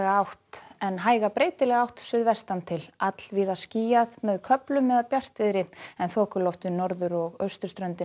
átt en hæga breytilega átt suðvestan til allvíða skýjað með köflum eða bjartviðri en þokuloft við norður og austurströndina